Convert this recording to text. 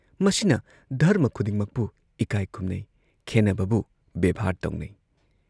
ꯃꯁꯤꯅ ꯙꯔꯃ ꯈꯨꯗꯤꯡꯃꯛꯄꯨ ꯏꯀꯥꯏ ꯈꯨꯝꯅꯩ, ꯈꯦꯟꯅꯕꯕꯨ ꯕꯦꯕꯍꯥꯔ ꯇꯧꯅꯩ ꯫